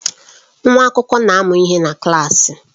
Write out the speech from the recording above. Nwa akwụkwọ na-amụ ihe ha na klaasị.